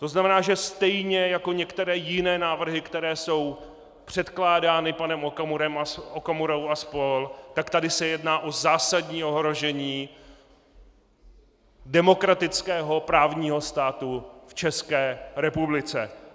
To znamená, že stejně jako některé jiné návrhy, které jsou předkládány panem Okamurou a spol., tak tady se jedná o zásadní ohrožení demokratického právního státu v České republice.